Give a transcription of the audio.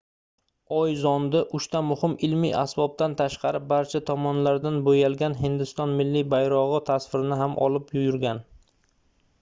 oy zondi uchta muhim ilmiy asbobdan tashqari barcha tomonlaridan boʻyalgan hindiston milliy bayrogʻi tasvirini ham olib yurgan